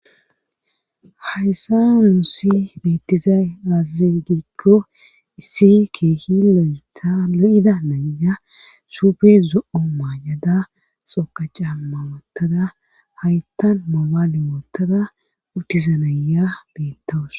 Hayssa muusi beettizay azize gikko issi keehi loyeta lo'ida naya suupe zo'o maa'ada xoqa camma woottada hayttan mobale woottada uttizanaya beettawus.